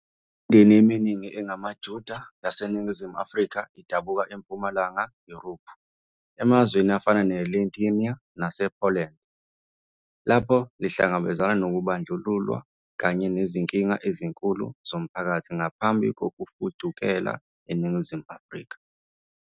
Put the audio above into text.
Imindeni eminingi engamaJuda yaseNingizimu Afrika idabuka eMpumalanga Yurophu, emazweni afana neLithuania nasePoland, lapho ihlangabezana nokubandlululwa kanye nezinkinga ezinkulu zomphakathi ngaphambi kokufudukela eNingizimu Afrika.